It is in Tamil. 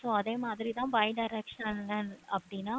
so அதே மாதிரி தான் bi-directional அப்படின்னா